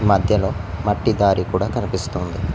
మధ్యలో మట్టి దారి కూడా కనిపిస్తోంది.